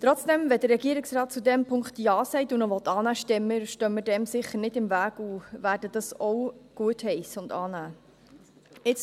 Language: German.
Trotzdem: Wenn der Regierungsrat zu diesem Punkt Ja sagt und ihn annehmen will, stehen wir dem sicher nicht im Weg und werden ihn auch gutheissen und annehmen.